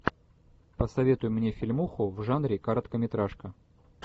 посоветуй мне фильмуху в жанре короткометражка